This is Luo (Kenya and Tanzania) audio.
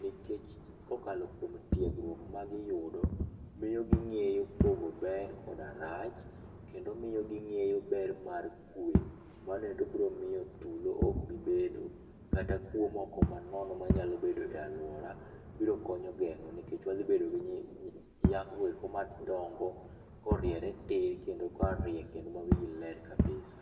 Nikech kokalo kuom tiegruok magiyudo, miyo ging'eyo pogo ber koda rach, kendo miyo ging'eyo ber mar kwe. Mano endo biro miyo tulo ok bi bedo, kata kuo moko manono manyalo bedo e aluora biro konyo geng'o nikech wadhi bedo gi nyakgo eko madongo koriere tir kendo korie kendo mawigi ler kabisa.